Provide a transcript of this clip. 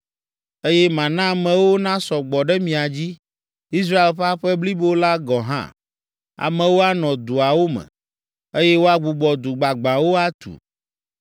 eye mana amewo nasɔ gbɔ ɖe mia dzi, Israel ƒe aƒe blibo la gɔ̃ hã. Amewo anɔ duawo me, eye woagbugbɔ du gbagbãwo atu.